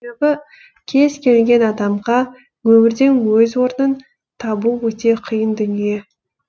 себебі кез келген адамға өмірден өз орнын табу өте қиын дүние